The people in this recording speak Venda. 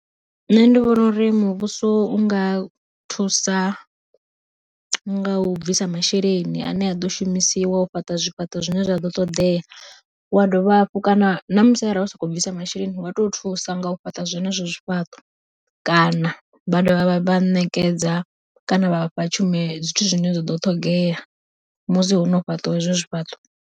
Nṋe ndi vhona uri muvhuso u nga thusa nga u bvisa masheleni ane a ḓo shumisiwa u fhaṱa zwifhaṱo zwine zwa ḓo ṱoḓea, wa dovha hafhu kana namusi arali sokou bvisa masheleni vha to thusa nga u fhaṱa zwenezwo zwifhaṱo kana vha dovha vha vha ṋekedza kana vha vhafha tshumelo zwithu zwine zwa ḓo ṱhogea musi hono fhaṱiwa hezwo zwi fhaṱa.